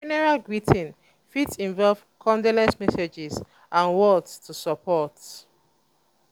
for funeral greeting fit involve condolence messages and words to support